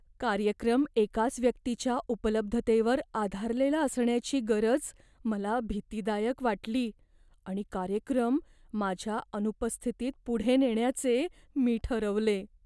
कार्यक्रम एकाच व्यक्तीच्या उपलब्धतेवर आधारलेला असण्याची गरज मला भीतीदायक वाटली आणि कार्यक्रम माझ्या अनुपस्थितीत पुढे नेण्याचे मी ठरवले.